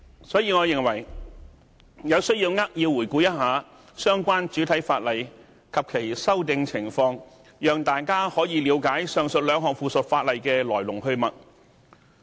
所以，我認為有需要扼要回顧相關主體法例及其修訂情況，讓大家可以了解上述兩項附屬法例的來龍去脈。